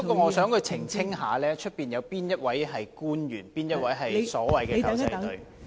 我想他澄清，會議廳外有哪位官員是所謂的"狗仔隊"？